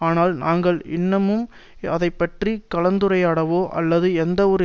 ஆனால் நாங்கள் இன்னமும் அதை பற்றி கலந்துரையாடவோ அல்லது எந்தவொரு